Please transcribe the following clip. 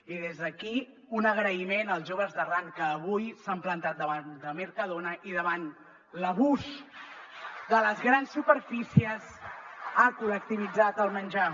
i des d’aquí un agraïment als joves d’arran que avui s’han plantat davant de mercadona i davant l’abús de les grans superfícies ha col·lectivitzat el menjar